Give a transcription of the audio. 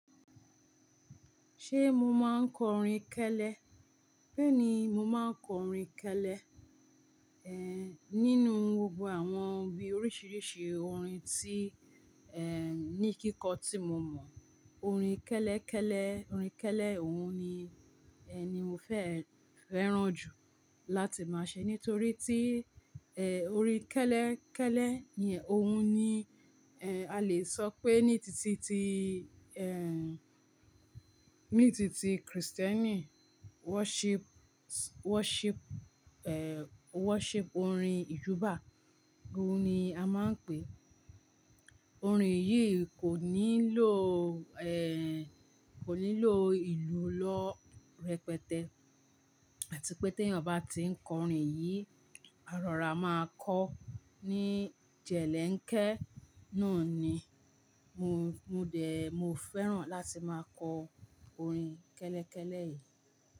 Ṣé mo máa ń kọrin kẹ́lẹ́? Bẹ́ẹ̀ni, mo máa ń kọ orin kẹ́lẹ́. Ehn, nínú gbogbo àwọn bí oríṣiríṣi orin tí, ehn, ní kíkọ́ tí mo mọ̀, orin kẹ́lẹ́kẹ́lẹ́, orin kẹ́lẹ́ òun ni, ehn, ni mo fe fẹ́ran jù láti máṣe. Nítorí tí, ehn, orin kẹ́lẹ́ kẹ́lẹ́ yẹn òun ni, ehn, a lè sọ pé ní títí tí, ehn, ní títí tí Kristẹni worship, worship, ehn, worship orin ìjúbà. Òun ni a máa ń pè é. Orin yìí kò nílò, ehn, kò nílò ìlú lọ́ rẹpẹtẹ. Àti pé tí ẹnyan bá ti ń kọ orin yìí, àrọ́ra máa kọ́ ní jẹ̀lẹ́ ǹkẹ́. Náà ni mo, mo dẹ̀, mo fẹ́ràn láti máa kọ orin kẹ́lẹ́kẹ́lẹ́ yìí.